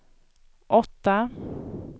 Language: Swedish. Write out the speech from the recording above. åtta